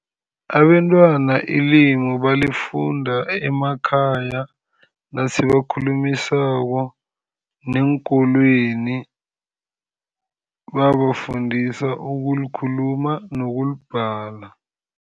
Abentwana ilimu balifunda emakhaya nasibakhulumisako, neenkolweni babafundisa ukulikhuluma nokulibhala.